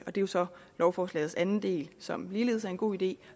er jo så lovforslagets anden del som ligeledes er en god idé